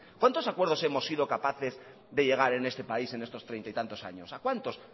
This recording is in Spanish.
cuántos acuerdos hemos sido capaces de llegar en este país en estos treinta y tantos años a cuántos